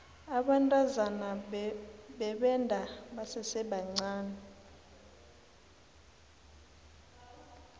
abantazana bebenda basesebancani